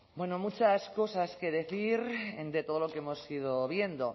bueno muchas cosas que decir de todo lo que hemos ido viendo